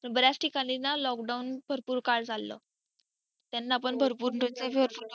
तर बर्‍याच ठिकाणी ना lockdown भरपूर वेळ चालल त्यांना पण भरपूर झालं